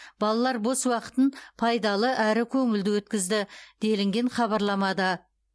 балалар бос уақытын пайдалы әрі көңілді өткізді делінген хабарламада